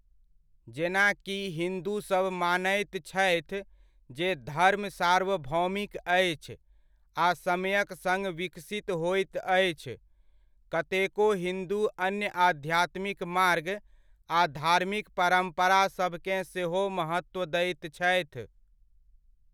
जेना कि हिन्दूसभ मानैत छथि जे धर्म सार्वभौमिक अछि आ समयक सङ्ग विकसित होइत अछि, कतेको हिन्दू अन्य आध्यात्मिक मार्ग आ धार्मिक परम्परासभकेँ सेहो महत्व दैत छथि।